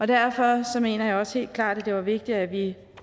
derfor mener jeg også helt klart at det var vigtigt at vi